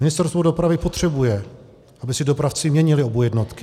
Ministerstvo dopravy potřebuje, aby si dopravci měnili OBU jednotky.